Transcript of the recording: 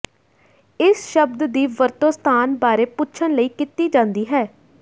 ਇਸ ਸ਼ਬਦ ਦੀ ਵਰਤੋਂ ਸਥਾਨ ਬਾਰੇ ਪੁੱਛਣ ਲਈ ਕੀਤੀ ਜਾਂਦੀ ਹੈ